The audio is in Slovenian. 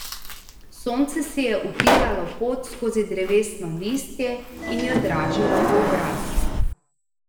Sonce si je utiralo pot skozi drevesno listje in jo dražilo v obraz.